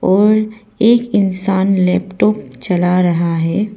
और एक इंसान लैपटॉप चला रहा है।